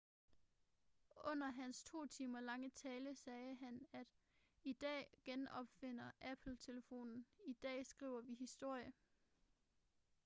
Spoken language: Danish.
under hans to timers lange tale sagde han at i dag genopfinder apple telefonen i dag skriver vi historie